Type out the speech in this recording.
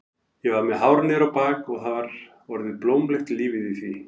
Ég var með hár niður á bak og það var orðið blómlegt lífið í því.